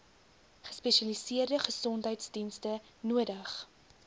gespesialiseerde gesondheidsdienste nodig